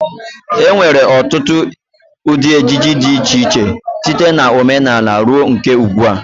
E nwere ọtụtụ ụdị ejiji dị iche iche, site na omenala ruo nke ugdbua.